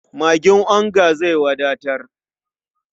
Magin onga zai wadatar.